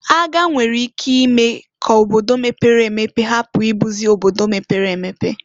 Agha nwere ike ime k'obodo mepere emepe hapu ibuzi obodo mepere emepe.